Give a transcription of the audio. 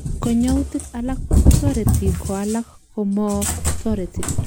Konyoutik alak kotoreti koalak komotoreti.